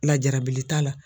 Lajarabili t'a la.